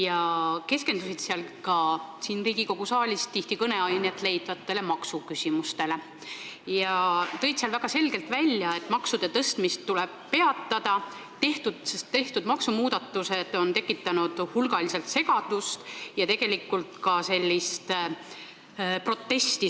Nad keskendusid seal ka siin Riigikogu saalis tihti kõneainet leidvatele maksuküsimustele ja tõid väga selgelt välja, et maksude tõstmine tuleb peatada, sest tehtud maksumuudatused on tekitanud hulgaliselt segadust ja suuresti ka protesti.